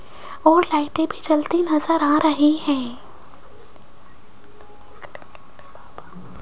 और लाइटे भी जलती नजर आ रही है।